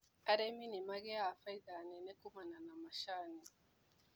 Arĩmi nĩmagĩaga bainda nene kumana na macani.